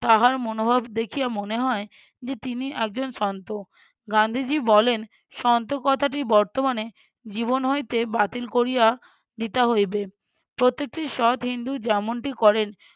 তাহার মনোভাব দেখিয়া মনে হয় যে তিনি একজন সন্ত। গান্ধীজী বলেন সন্ত কথাটি বর্তমানে জীবন হইতে বাতিল করিয়া দিতে হইবে প্রত্যেকটি সৎ হিন্দু যেমনটি করেন